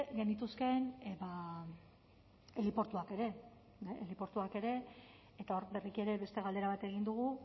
genituzkeen heliportuak ere heliportuak ere eta hor berriki ere beste galdera bat egin dugu